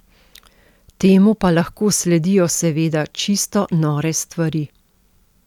Temu pa lahko sledijo seveda čisto nore stvari.